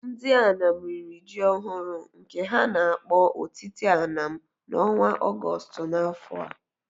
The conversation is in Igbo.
Ndị Anam riri ji ọhụrụ, nke ha na-akpọ Otite Anam, n’ọnwa Ọgọstụ n’afọ a.